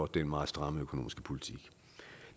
den meget stramme økonomiske politik